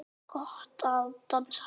Linda: Hvernig líður þér?